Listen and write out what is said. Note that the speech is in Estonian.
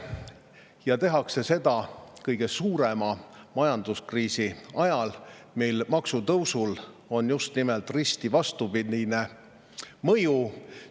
Ja tehakse seda kõige suurema majanduskriisi ajal, kui maksude tõusul on risti vastupidine mõju.